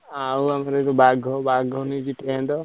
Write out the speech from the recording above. ଆଉ ଆମର ବାଘ ବାଘ ନେଇଛି tent ।